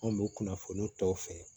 Anw bɛ kunnafoniw tɔ fɛ